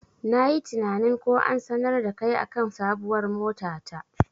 Nayi tinanin ko an sanar dakai akan sabuwar mota ta.